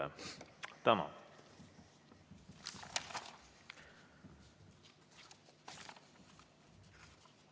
Tänan!